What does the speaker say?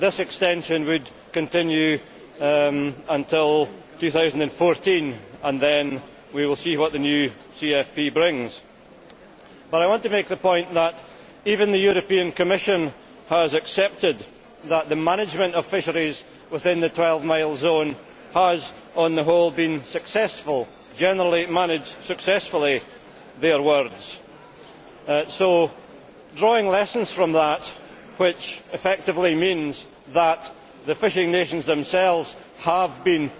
This extension would continue until 2014, and then we will see what the new CFP brings. But I want to make the point that even the Commission has accepted that the management of fisheries within the 12 mile zone has on the whole been successful generally managed successfully', in the Commission's words. So drawing lessons from that, which effectively means that the fishing nations themselves have been